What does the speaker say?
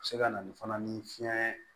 Se ka na ni fana ni fiɲɛ